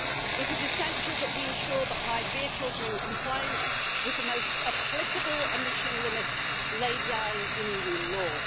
It is essential that we ensure that hired vehicles are in compliance with the most applicable emission limits laid down in Union law.